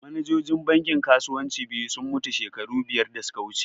Manajojin bankin kasuwanci biyu sun mutu shekara biyar da suka wuce